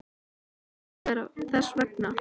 Það hlýtur að vera þess vegna.